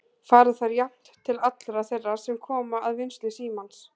Fara þær jafnt til allra þeirra sem koma að vinnslu símans?